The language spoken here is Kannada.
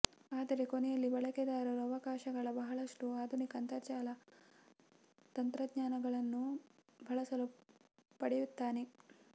ಆದರೆ ಕೊನೆಯಲ್ಲಿ ಬಳಕೆದಾರರು ಅವಕಾಶಗಳ ಬಹಳಷ್ಟು ಆಧುನಿಕ ಅಂತರ್ಜಾಲ ತಂತ್ರಜ್ಞಾನಗಳನ್ನು ಬಳಸಲು ಪಡೆಯುತ್ತಾನೆ